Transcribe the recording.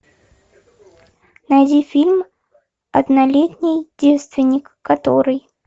найди фильм однолетний девственник который